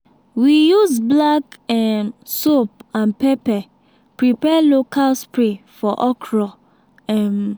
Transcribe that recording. we use black um soap and pepper prepare local spray for okra um